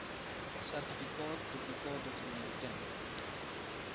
sertifikaat duplikaatdokument ten